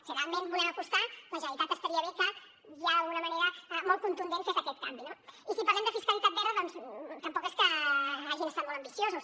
si realment hi volem apostar la generalitat estaria bé que ja d’alguna manera molt contundent fes aquest canvi no i si parlem de fiscalitat verda doncs tampoc és que hagin estat molt ambiciosos